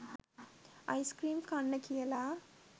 ice cream කන්න කියලා